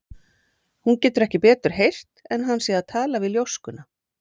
Hún getur ekki betur heyrt en hann sé að tala við ljóskuna.